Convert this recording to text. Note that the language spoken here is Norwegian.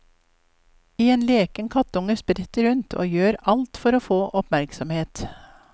En leken kattunge spretter rundt, og gjør alt for å få oppmerksomhet.